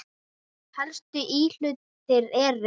Helstu íhlutir eru